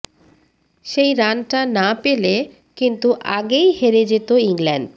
সেই রানটা না পেলে কিন্তু আগেই হেরে যেত ইংল্যান্ড